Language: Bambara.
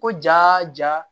Ko ja ja